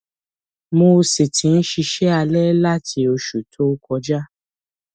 mo sì ti ń ṣiṣẹ alẹ láti oṣù tó tó kọjá